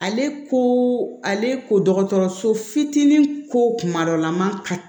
Ale ko ale ko dɔgɔtɔrɔso fitinin ko kuma dɔ la ma ka